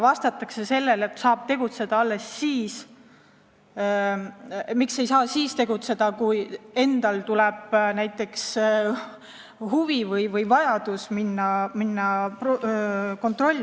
Miks ei saa tegutseda siis, kui endal tekib näiteks huvi või on vaja minna kontrollima?